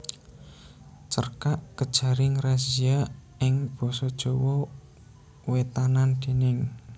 Cerkak Kejaring Razia ing basa Jawa Wétanan déning